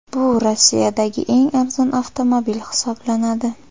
Bu Rossiyadagi eng arzon avtomobil hisoblanadi.